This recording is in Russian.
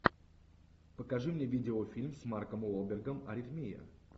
покажи мне видеофильм с марком уолбергом аритмия